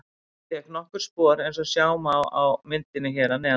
Hann fékk nokkur spor eins og sjá má á myndinni hér að neðan.